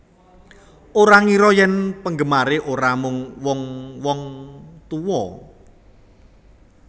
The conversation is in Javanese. Ora ngira yen penggemare ora mung wong wong tuwa